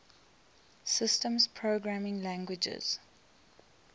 systems programming languages